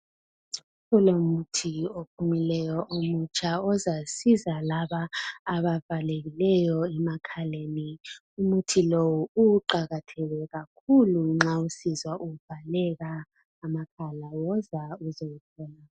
Kulomuthi obuyileyo omutsha. Ozasiza laba abavalekileyo emakhaleni. Umuthi lowu uqakatheke kakhulu. Nxa usizwa uvaleka amakhala woza uzokwelatshwa.